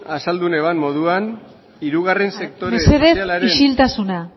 azaldu nuen moduan hirugarren sektore sozialaren mesedez isiltasuna